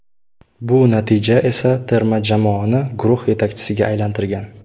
Bu natija esa terma jamoani guruh yetakchisiga aylantirgan.